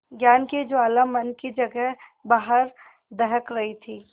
ज्ञान की ज्वाला मन की जगह बाहर दहक रही थी